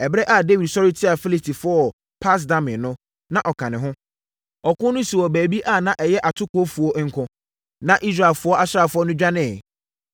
Ɛberɛ a Dawid sɔre tiaa Filistifoɔ wɔ Pas-Damim no, na ɔka ne ho. Ɔko no sii wɔ baabi a na ɛyɛ atokofuo nko, na Israel asraafoɔ no dwaneeɛ.